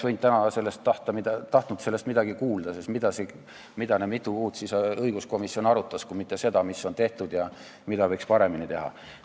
Täna oleks tahtnud sellest midagi kuulda, sest mida see õiguskomisjon mitu kuud arutas kui mitte seda, mis on tehtud ja mida võiks paremini teha.